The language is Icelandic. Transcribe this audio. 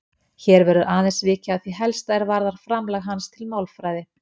Hér verður aðeins vikið að því helsta er varðar framlag hans til málfræði.